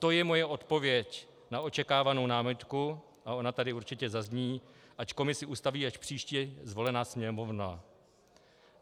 To je moje odpověď na očekávanou námitku, a ona tady určitě zazní, ať komisi ustaví až příště zvolená Sněmovna.